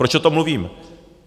Proč o tom mluvím?